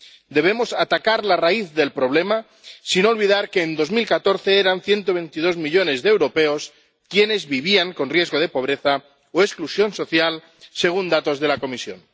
Debemos atacar la raíz del problema, sin olvidar que en 2014 eran 122 millones de europeos quienes vivían con riesgo de pobreza o exclusión social, según datos de la Comisión.